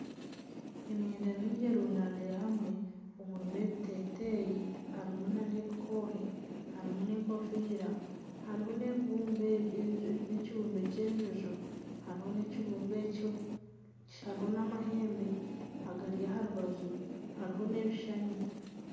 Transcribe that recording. Emyenda mingi erundaniire hamwe, harimu ebiteteeyi harimu nana ebikohe, harimu nana enkofiira, harimu nana ekibumbe ky'enjojo, hariho nana amahembe agari aha rubaju hariho nana ebishushani.